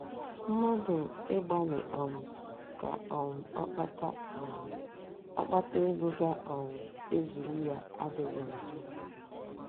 Mmadụ ịgbalị um ka um ọ kpata um ọ kpata ego ga um - ezuru ya adịghị njọ.